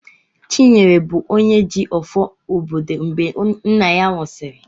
Chinyere bụ onye ji "ọfọ" obodo mgbe nna ya nwụsịrị."